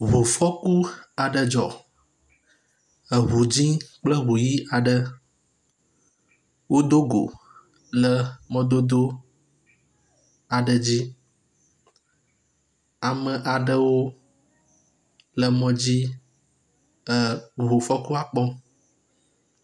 Ŋufɔku aɖe dzɔ. Eŋu dzɛ̃ kple eŋu ʋi aɖe wodo go le mɔdodo aɖe dzi. Ame aɖewo le mɔ dzi ke wo eŋu fɔkua kpɔm.